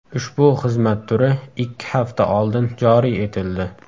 Ushbu xizmat turi ikki hafta oldin joriy etildi.